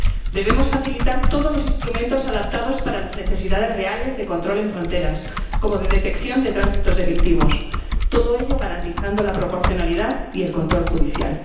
Debemos facilitar todos los instrumentos adaptados para las necesidades reales de control en fronteras, como las de detección de tránsitos delictivos, todo ello garantizando la proporcionalidad y el control judicial.